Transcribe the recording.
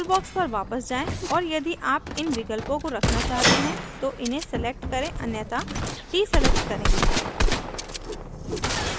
toolbox पर वापस जाएँ और यदि आप इन विकल्पों को रखना चाहते हैं तो इन्हें select करें अन्यथा deselect करें